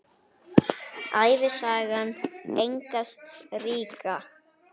Ævisaga Einars ríka